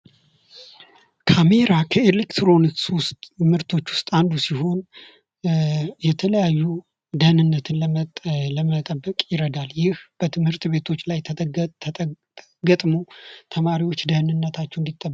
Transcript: ካሜራ ከኤሌክትሮኒክስ ምርቶች ውስጥ አንዱ ሲሆን የተለያዩ ደንነትን ለመጠበቅ ይረዳል ። ይህ በትምህርት ቤቶች ላይ ገጥሞ ተማሪዎች ደህንነታቸው እንዲጠበቅ